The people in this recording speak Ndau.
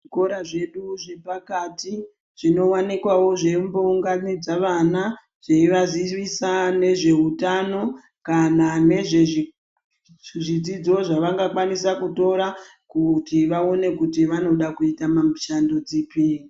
Zvikora zvedu zvedu zvepakati zvinoonekwawo zveiunganidze ana zveivazivisa nezveutano kana nezvezvidzidzo zvavangakwanisa kutora kuti vaone kuti vanoda kuita mishando dzipi .